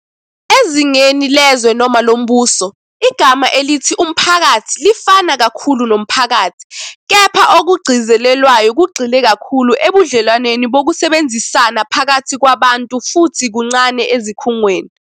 Ezingeni lezwe noma lombuso, igama elithi umphakathi lifana kakhulu nomphakathi, kepha okugcizelelwayo kugxile kakhulu ebudlelwaneni bokusebenzisana phakathi kwabantu futhi kuncane ezikhungweni.